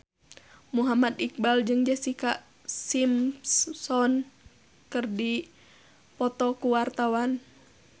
Muhammad Iqbal jeung Jessica Simpson keur dipoto ku wartawan